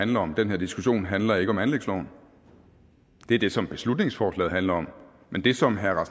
handler om den her diskussion handler ikke om anlægsloven det er det som beslutningsforslaget handler om men det som herre